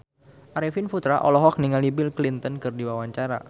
Arifin Putra olohok ningali Bill Clinton keur diwawancara